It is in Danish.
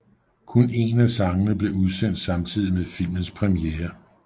Kun en af sangene blev udsendt samtidig med filmens premiere